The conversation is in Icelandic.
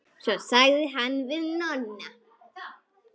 Svo sagði hann við Nonna.